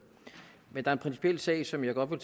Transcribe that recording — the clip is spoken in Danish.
men der er en principiel sag som jeg godt vil